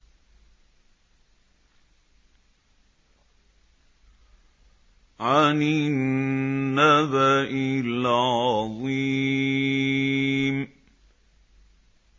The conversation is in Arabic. عَنِ النَّبَإِ الْعَظِيمِ